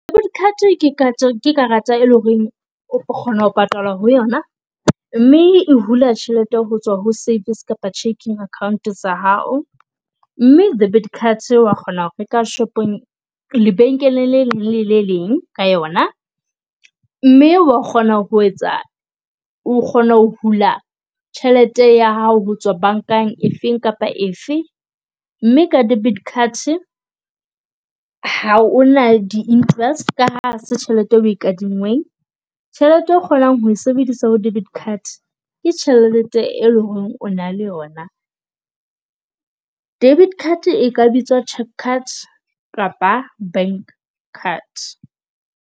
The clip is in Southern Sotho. Card ke ke karata e le ho reng o kgona ho patala ho yona, mme e hula tjhelete ho tswa ho savings kapa checking account tsa hao. Mme debit card wa kgona ho reka shopong lebenkeleng le leng le le leng ka yona. Mme wa kgona ho etsa o kgona ho hula tjhelete ya hao ho tswa bankeng e feng kapa efe. Mme ka debit card ha o na di interest ka ha ha se tjhelete e o e kadingweng. Tjhelete e kgonang ho sebedisa ho debit card, ke tjhelete e leng ho re o na le yona. Debit card e ka bitsa cheque card kapa bank card.